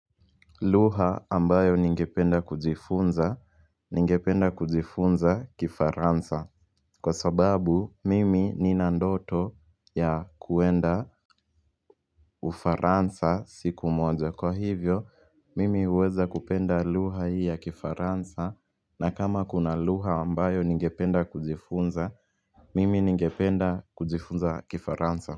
Lugha ambayo ningependa kujifunza, ningependa kujifunza kifaransa. Kwa sababu, mimi nina ndoto ya kuenda ufaransa siku mojo. Kwa hivyo, mimi uweza kupenda lugha hii ya kifaransa na kama kuna lugha ambayo ningependa kujifunza, mimi ningependa kujifunza kifaransa.